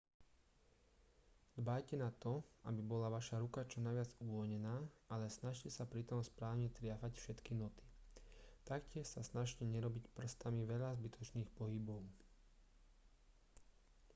dbajte na to aby bola vaša ruka čo najviac uvoľnená ale snažte sa pritom správne triafať všetky noty taktiež sa snažte nerobiť prstami veľa zbytočných pohybov